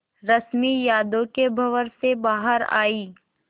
रश्मि यादों के भंवर से बाहर आई